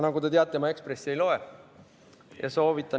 Nagu te teate, ma Ekspressi ei loe.